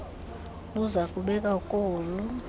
luza kubekwa kolu